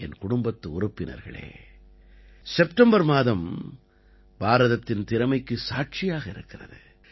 என் குடும்பத்து உறுப்பினர்களே செப்டம்பர் மாதம் பாரதத்தின் திறமைக்கு சாட்சியாக இருக்கிறது